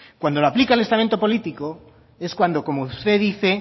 cuando lo aplica el estamento político es cuando como usted dice